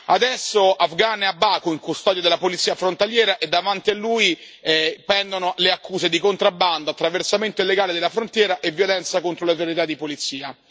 Adesso Afgan è a Baku, in custodia della polizia frontaliera, e davanti a lui pendono le accuse di contrabbando, attraversamento illegale della frontiera e violenza contro le autorità di polizia.